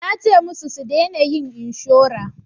Nace musu su dena yin inshora